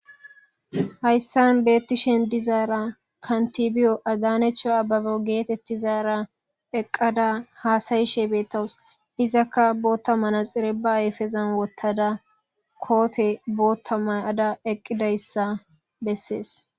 Hayssan beeththishen dizaara kanththibiyo adanechcha abeabo geetheththizaara eqqada haasayishe beeththawus; izakka booththa manatsire ba ayfezan woththada koothe booththa maa7ada eqqidayssa bessees.